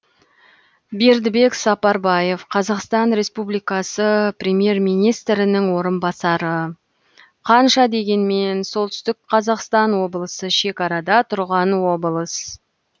бердібек сапарбаев қазақстан республикасы премьер министрінің орынбасары қанша дегенмен солтүстік қазақстан облысы шекарада тұрған облыс